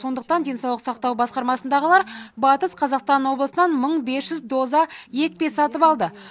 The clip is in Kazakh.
сондықтан денсаулық сақтау басқармасындағылар батыс қазақстан облысынан мың бес жүз доза екпе сатып алды